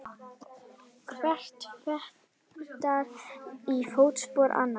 Hver fetar í fótspor annars.